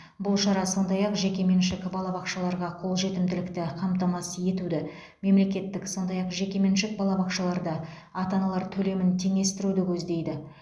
бұл шара сондай ақ жекеменшік балабақшаларға қолжетімділікті қамтамасыз етуді мемлекеттік сондай ақ жекеменшік балабақшаларда ата аналар төлемін теңестіруді көздейді